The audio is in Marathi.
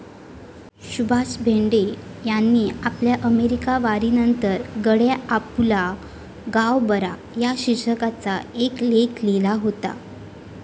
सुभाष भेंडे यांनी आपल्या अमेरिकावारीनंतर 'गड्या आपुला गाव बरा' या शिर्षकाचा एक लेख लिहिला होता.